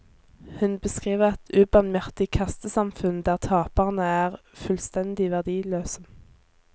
Hun beskriver et ubarmhjertig kastesamfunn der taperne er fullstendig verdiløse.